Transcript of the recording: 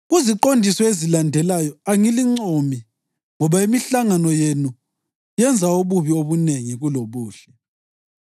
Kuziqondiso ezilandelayo angilincomi, ngoba imihlangano yenu yenza ububi obunengi kulobuhle.